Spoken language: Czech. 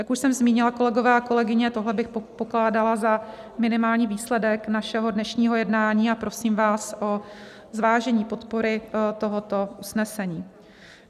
Jak už jsem zmínila, kolegyně a kolegové, tohle bych pokládala za minimální výsledek našeho dnešního jednání, a prosím vás o zvážení podpory tohoto usnesení.